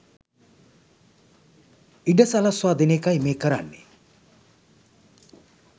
ඉඩ සලස්වා දෙන එකයි මේ කරන්නේ